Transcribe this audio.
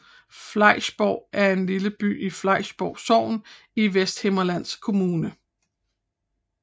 Flejsborg er en lille by i Flejsborg Sogn i Vesthimmerlands Kommune